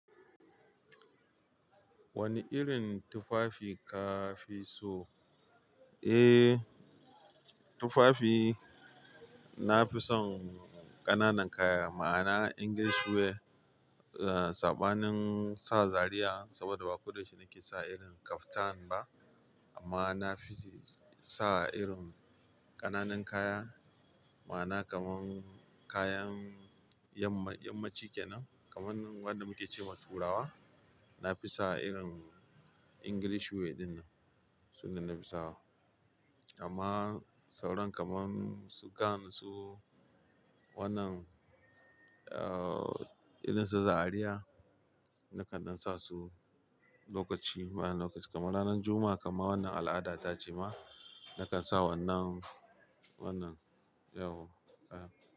Wani irin tufafi ka fi so? Eh, tufafi na fi son ƙananan kaya ma'ana English way. Eh, saɓanin sa za riya saboda ba ko da yaushe nake sa irin kaftan ba amma na fi sa irin ƙananan kaya ma'ana kaman kayan yammaci kenan kaman wanda muke ce ma turawa. Na fi sa irin English wear dinnan sune da na fi sawa. Amma sauran kaman su gown su wannan, eh, irin su za riya nakan don sa su lokaci ma'ana lokaci kaman ranan Juma'a kaman wannan al'ada ta cema nakan sa wannan, wannan yawon kaya.